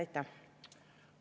Aitäh!